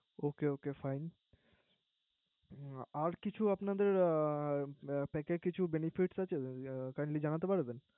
ওকে okay আর কিছূ আপনাদের অ Pack কিছু Benefit আছে Kindly জানাতে পারবেন।